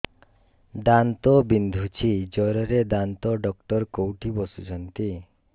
ଦାନ୍ତ ବିନ୍ଧୁଛି ଜୋରରେ ଦାନ୍ତ ଡକ୍ଟର କୋଉଠି ବସୁଛନ୍ତି